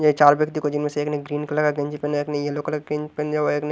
ये चार व्यक्ति को जिनमें से एक ने ग्रीन कलर का गंजी पहना है एक ने येलो कलर ग्रीन पहने हुआ है एक ने--